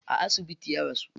A asibiti ya rasu.